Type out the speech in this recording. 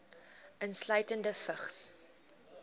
insluitende vigs